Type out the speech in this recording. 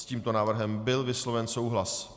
S tímto návrhem byl vysloven souhlas.